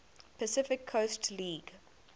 pacific coast league